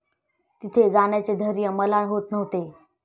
तिथे जाण्याचे धैर्य मला होत नव्हते.